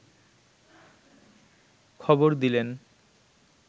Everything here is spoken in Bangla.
খবর দিলেন